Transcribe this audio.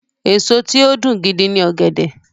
Èso tí ó dùn gidi ni ọ̀gẹ̀dẹ̀.